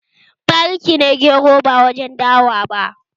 Bari ki ne gero ba warin dawa bane!